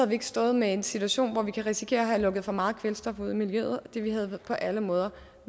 vi ikke stået med en situation hvor vi kan risikere at have lukket for meget kvælstof ud i miljøet og det havde på alle måder